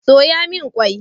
Soya min qwai